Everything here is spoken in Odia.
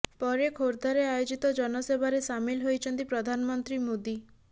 ପରେ ଖୋର୍ଦ୍ଧାରେ ଆୟୋଜିତ ଜନସଭାରେ ସାମିଲ ହୋଇଛନ୍ତି ପ୍ରଧାନମନ୍ତ୍ରୀ ମୋଦି